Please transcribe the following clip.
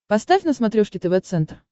поставь на смотрешке тв центр